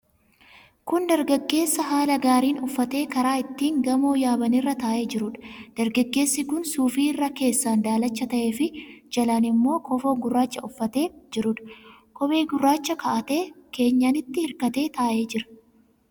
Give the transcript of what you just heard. Kun dargaggeessa haala gaariin uffatee karaa ittiin gamoo yaaban irra taa'ee jiruudha. Dargaggeessi kun suufii irra keessaan daalacha ta'eefi jalaan immoo kofoo gurraacha uffatee jiruudha. Kophee gurraacha ka'atee keenyanitti hirkatee taa'ee jira.